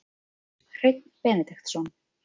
Hreinn Benediktsson